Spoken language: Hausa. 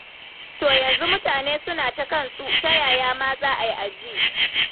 To yanzu mutane suna ta kansu, ta yaya ma za a yi a ji?